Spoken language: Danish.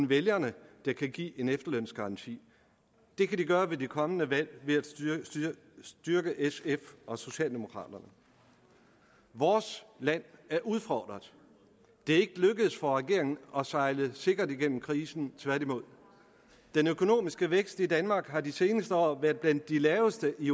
vælgerne der kan give en efterlønsgaranti det kan de gøre ved det kommende valg ved at styrke sf og socialdemokraterne vores land er udfordret det er ikke lykkedes for regeringen at sejle sikkert igennem krisen tværtimod den økonomiske vækst i danmark har de seneste år været blandt de laveste i